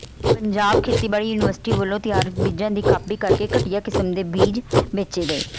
ਪੰਜਾਬ ਖੇਤੀਬਾੜੀ ਯੂਨੀਵਰਸਿਟੀ ਵੱਲੋਂ ਤਿਆਰ ਬੀਜਾਂ ਦੀ ਕਾਪੀ ਕਰਕੇ ਘਟਿਆਂ ਕਿਸਮ ਦੇ ਬੀਜ ਵੇਚੇ ਗਏ